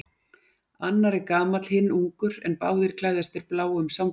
Annar er gamall, hinn ungur en báðir klæðast þeir bláum samfestingum.